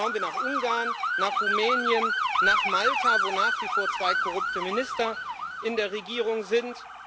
Schauen wir nach Ungarn, nach Rumänien, nach Malta, wo nach wie vor zwei korrupte Minister in der Regierung sind.